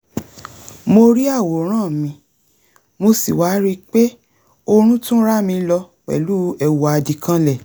mo rí àwòrán mi mo sì wá ríi pé oorun tún rámi lọ pẹ̀lú èwù àdìkanlẹ̀